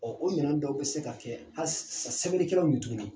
Ɔ o minɛn dɔw bɛ se ka kɛ halisa sɛbɛnnikɛlanw ye tuguni